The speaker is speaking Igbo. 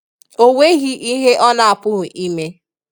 O nweghị ihe ọ na-apụghị ime